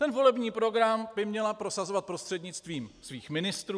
Ten volební program by měla prosazovat prostřednictvím svých ministrů.